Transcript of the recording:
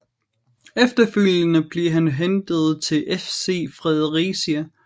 Efterfølgende blev han hentet til FC Fredericia